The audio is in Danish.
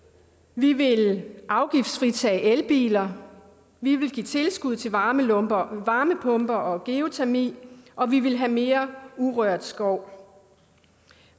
vi ville afgiftsfritage elbiler vi ville give tilskud til varmepumper varmepumper og geotermi og vi ville have mere urørt skov